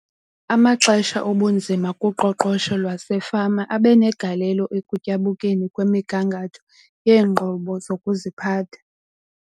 Amaxesha obunzima kuqoqosho lwasefama abe negalelo ekutyabukeni kwemigangatho yeenqobo zokuziphatha.